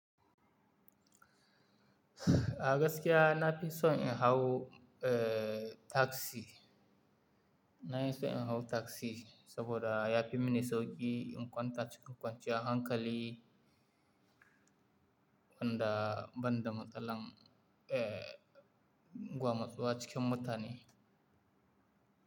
A gaskiya na fi son in hau, eh taxi. Na fi son in hau taxi saboda ya fi mini sauƙi in kwanta cikin kwanciyar hankali, banda, banda matsalan eh, gwamatsuwa cikin mutane.